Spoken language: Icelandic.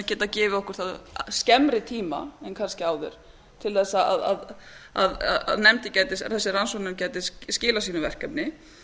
geta gefið okkur það skemmri tíma en kannski áður til að þessi rannsóknarnefnd gæti skilað sínu verkefni